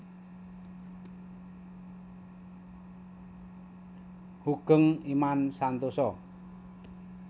Hoegeng Imam Santoso